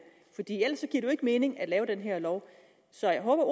jo ikke mening at lave den her lov så jeg håber at